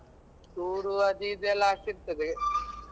Tour ಅದು ಇದು ಎಲ್ಲ ಆಗ್ತಿರ್ತದೆ.